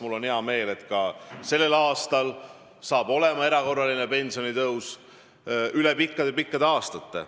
Mul on hea meel, et sellel aastal saab olema erakorraline pensionitõus üle pikkade-pikkade aastate.